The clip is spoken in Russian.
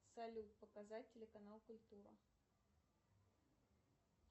салют показать телеканал культура